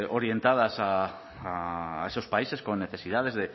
orientadas a esos países con necesidades